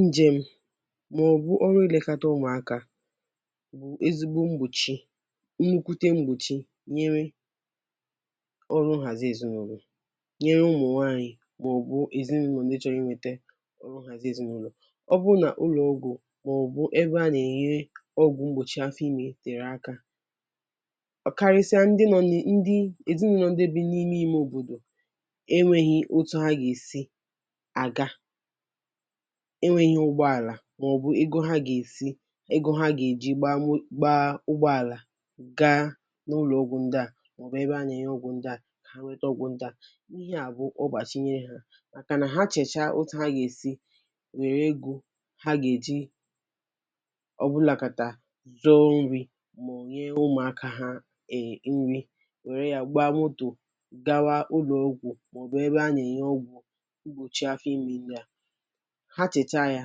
Ǹjèm, mà ọ̀ bụ̀ ọrụ ilekọta ụmụ̀akȧ, bụ̀ ezigbo mgbòchi, nnukwute mgbòchi nyere ọrụ nhàzi èzinụlọ̀, nyere ụmụ̀ nwaanyị̀ mà ọ̀ bụ̀ èzinụlọ̀ ndị́ chọ́rọ́ inwete ọrụ nhàzi èzinụlọ̀. Ọ́ bụ́rụ́ nà ụlọ̀ ọ́gwụ̀, mà ọ̀ bụ̀ ebe a nà-ènye ọgwụ̀ mgbòchi afọ ime tèrè aka; ọ̀ karịsịa ndị nọ ni ndị́ èzinụlọ̀ ndị́ bi n’ime ìme òbòdò, enweghị otu ha ga esi aga, enweghị́ ụgbọàlà mà ọ̀ bụ̀ ego ha gà-èsi, ego ha gà-èji gbaa ụgbọàlà gaa n’ụlọ̀ ọ́gwụ̀ ndị́ à, mà ọ̀ bụ̀ ebe a nà-ènye ọ́gwụ̀ ndị́ à nweta ọ́gwụ̀ ndị́ à. Íhe à bụ̀ ọgbàchi nyere há; màkànà ha chèchaa otù ha gà-èsi wèrè ego ha gà-èji ọbụlàkàtà zuọ nri̇ mà ọ̀ nyee ụ̀mụ̀aka ha e nri, wèrè yà gbaa motor gawa ụ́lọ̀ ọ́gwụ̀ mà ọ̀ bụ̀ ebe a nà-ènye ọ́gwụ̀ mgbochi áfọ́ ime ndị́ a, ha chècha ya,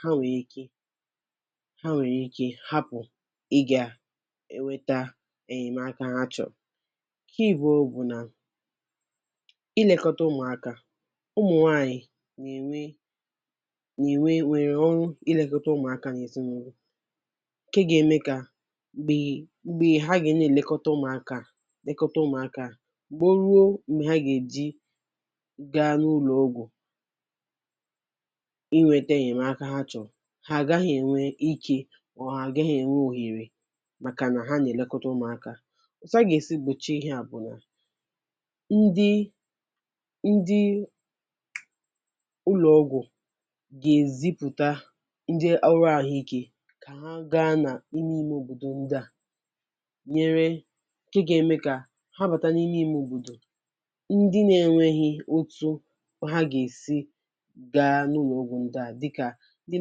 ha nwèrè ike ha nwèrè ike hapụ̀ ịgà èweta ènyèmaka ha chọ̀ọ̀. Nke abụọ bụ̀ nà ilekọta ụmụ̀aka, ụmụ̀nwaanyị̀ nà-ènwe nà-ènwe nwèrè ọrụ ilekọta ụmụ̀aka n’ezinụ́lọ̀, ǹke ga-eme kà m̀gbè m̀gbè ha gà na èlekọta ụmụ̀aka lekọta ụmụ̀aka, mà ó ruo m̀gbè ha gà-èji gaa n’ụ́lọ̀ ọ́gwụ̀ inwete ǹnyèmaka ha chọ̀rọ̀, ha agaghị ènwe ike, mà ọ ha àgághị ènwe òhere màkà nà ha nà-èlekọta ụmụ̀aka. Otu hà ga esi gbochie ihe à bụ̀ nà ndị́ ndị́ ụlọ̀ ọgwụ̀ gà-èzipụ̀ta ndị́ ọrụ àhụike, kà ha gaa nà ime ime òbòdò ndị́ à nyere ǹke gà-ème kà ha bàta n’ime ime òbòdò, ndị́ na-enweghị̇ otu ha gà-èsi gaa n’ụ́lọ̀ ọ́gwù ndị́ a, dị́ ka ndị́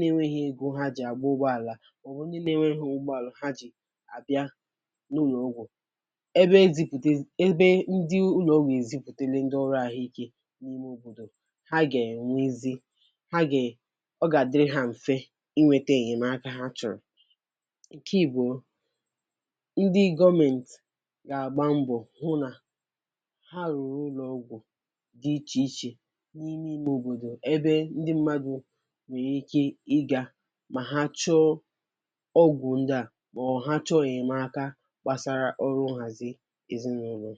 nà-enweghị ego ha jì àgbà ụgbọàlà, mà ọ̀ bụ̀ ndị́ nà-enweghị ụgbọàlà ha jì àbịá n’ụ́lọ̀ ọ́gwụ́. Ébé ezipùte ébé ndị́ ụ́lọ̀ ọ́gwù ezipùtele ndị́ ọ́rụ́ àhụike n’ime òbòdò, ha gà-ènwezi ha gà-è ọ gà-àdịrị́ ha m̀fe inweta ènyèmaka ha chọ̀rọ̀. Ǹke ìbụ̀ọ; ndị́ gọọmentị, gà-àgba mbọ̀ hụ nà ha rụ̀rụ̀ ụlọ̀ ọgwụ̀ dị́ ichè ichè n’ime ime òbòdò ébé ndị́ mmadụ nwere ike ịga mà ha chọọ ọ́gwụ̀ ndị́ à, mà ọ̀ ha chọọ ènymaka gbàsara ọrụ nhàzị èzinụlọ.